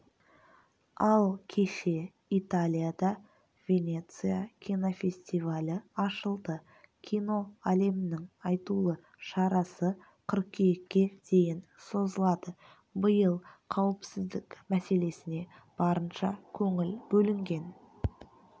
ал кеше италияда венеция кинофестивалі ашылды кино әлемінің айтулы шарасы қыркүйекке дейін созылады биыл қауіпсіздік мәселесіне барынша көңіл бөлінген